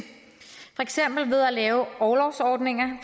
for eksempel ved at lave orlovsordninger